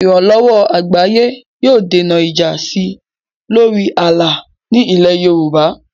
Ìrànlọ́wọ́ àgbáyé yóò dènà ìjà sí i lórí ààlà ní ilẹ̀ Yorùbá.